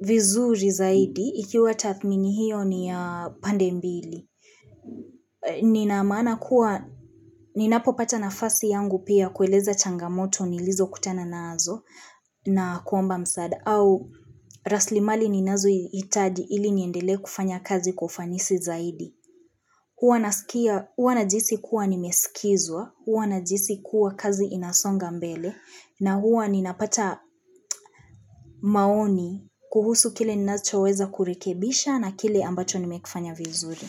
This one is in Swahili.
vizuri zaidi, ikiwa tathmini hiyo ni ya pande mbili. Nina maana kuwa, ninapo pata nafasi yangu pia kueleza changamoto nilizo kutana nazo nakuomba msaada au raslimali ninazo hitaji ili niendelee kufanya kazi ufanisi zaidi. Huwa najihisi kuwa nimesikizwa, huwa najihisi kuwa kazi inasonga mbele na huwa ninapata maoni kuhusu kile ninacho weza kurekebisha na kile ambacho nimekifanya vizuri.